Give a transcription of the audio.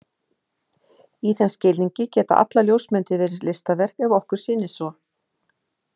Í þeim skilningi geta allar ljósmyndir verið listaverk ef okkur sýnist svo.